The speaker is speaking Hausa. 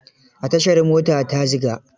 A tashar mota ta Ziga.